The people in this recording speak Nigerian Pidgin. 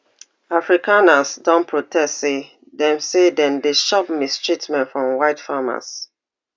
afrikaners do protests say dem say dem dey chop mistreatments from white farmers